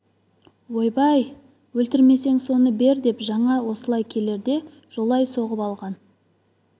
ойбай өлтірмесең соны бер деп жаңа осылай келерде жолай соғып алып алған